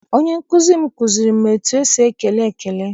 Onye nkụzi m kụziere m etu esi ekele ekele.